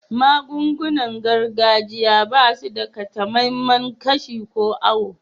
Magun-gunan gargajiya ba su da takamaiman kashi ko auwo.